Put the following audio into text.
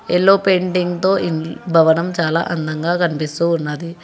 Yellow painting తో భవనం చాలా అందంగా కనిపిస్తూ ఉన్నది.